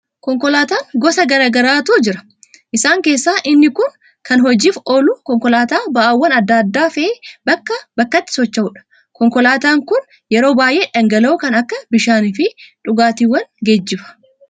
Konkolaataan gosa garaa garaatu jira. Isaan keessaa inni kun kan hojiif oolu, konkolaataa ba'aawwan adda addaa fe'ee bakkaa bakkatti socho'udha. Konkolaataan kun yeroo baay'ee dhangala'oo kan akka bishaanii fi dhugaatiiwwan geejjiba.